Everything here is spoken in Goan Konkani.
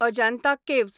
अजांता केव्ज